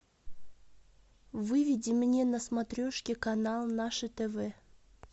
выведи мне на смотрешке канал наше тв